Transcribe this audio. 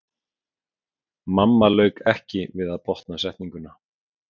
Mamma lauk ekki við að botna setninguna.